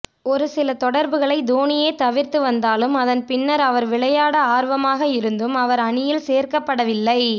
ஒரு சில தொடர்களை தோனியே தவிர்த்து வந்தாலும் அதன் பின்னர் அவர் விளையாட ஆர்வமாக இருந்தும் அவர் அணியில் சேர்க்கப்படவில்லை